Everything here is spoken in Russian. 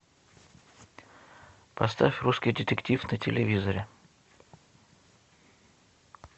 поставь русский детектив на телевизоре